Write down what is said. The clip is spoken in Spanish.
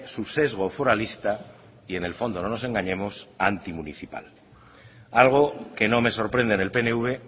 su sesgo foralista y en el fondo no nos engañemos antimunicipal algo que no me sorprende en el pnv